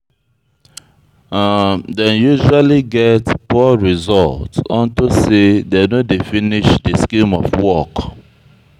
Dem usually get poor result unto say dem no dey finish de scheme of work.